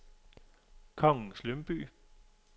Kongens Lyngby